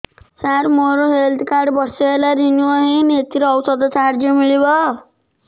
ସାର ମୋର health card ବର୍ଷେ ହେଲା ରିନିଓ ହେଇନି ଏଥିରେ ଔଷଧ ସାହାଯ୍ୟ ମିଳିବ